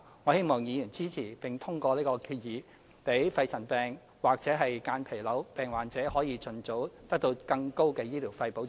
我希望議員支持並通過這項議案，讓肺塵病及間皮瘤病患者可盡早獲得更高的醫療費保障。